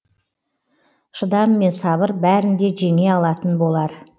шыдам мен сабыр бәрін де жеңе алатын болар